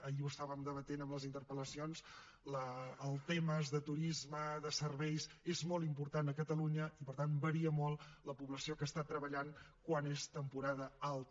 ahir ho debatíem en les interpel·lacions els temes de turisme de serveis són molt importants a catalunya i per tant varia molt la població que està treballant quan és temporada alta